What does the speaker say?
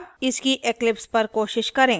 अब इसकी eclipse पर कोशिश करें